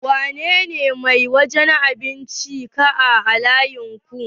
Wa ne ne mai wajen abincin da ya ke kaan layinku?